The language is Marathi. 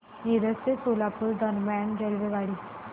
मिरज ते सोलापूर दरम्यान रेल्वेगाडी